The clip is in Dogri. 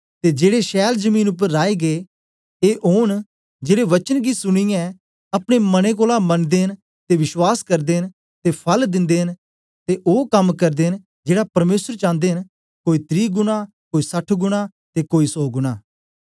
ते जेड़े छैल जमीन उपर राए गै ए ओन जेड़े वचन गी सुनीयै अपने मनें कोलां मनी ते बश्वास करदे न ते फल दिंदे न ते ओ कम करदे न जेड़ा परमेसर चांदे न कोई त्री गुणा कोई सठ गुणा ते कोई सौ गुणा